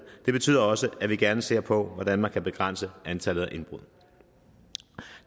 det betyder også at vi gerne ser på hvordan man kan begrænse antallet af indbrud